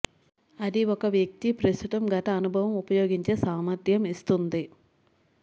అది ఒక వ్యక్తి ప్రస్తుతం గత అనుభవం ఉపయోగించే సామర్థ్యం ఇస్తుంది